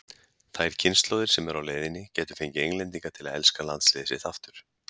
Þær kynslóðir sem eru á leiðinni gætu fengið Englendinga til að elska landsliðið sitt aftur.